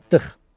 Çatdıq.